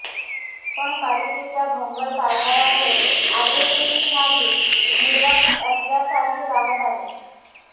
पण पालिकेच्या भोंगळ कारभारामुळे आजही येथील नागरिक निर्वासित असल्यासारखेच राहत आहेत